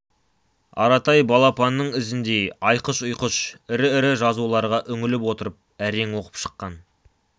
аратай балапанның ізіндей айқыш-ұйқыш ірі-ірі жазуларға үңіліп отырып әрең оқып шыққан